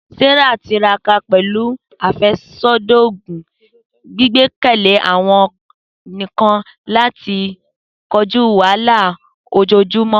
Sarah tiraka pẹlu afẹsodi oogun, gbigbekele awọn nkan lati koju wahala ojoojumọ.